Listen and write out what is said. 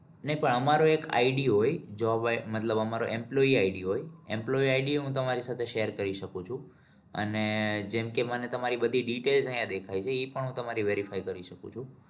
નહી પણ અમારે એક I'D હોય જો મતલબ અમારો employeeI'D હોય employeeI'D તમારી સાથે share કરી શકું છું અને જેમ કે મને તમારી બધી detail અહિયાં દેખાય છે એ પણ હું તમારી verify કરી શકું છું.